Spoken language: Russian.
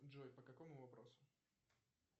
джой по какому вопросу